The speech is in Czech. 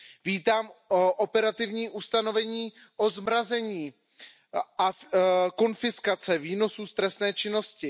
Vítám operativní ustanovení o zmrazení a konfiskaci výnosů z trestné činnosti.